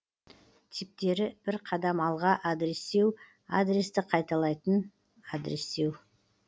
типтері бір қадам алға адрестеу адресті қайталайтын адрестеу